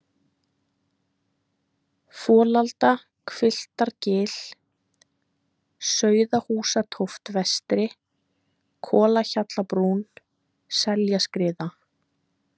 Folaldahvilftargil, Sauðahúsatóft vestri, Kolahjallabrún, Seljaskriða